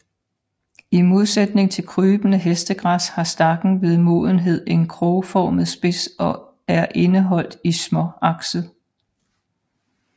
I modsætning til krybende hestegræs har stakken ved modenhed en krogformet spids og er indeholdt i småakset